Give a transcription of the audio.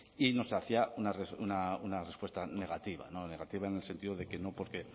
y nos hacía una respuesta negativa negativa en el sentido de que no porque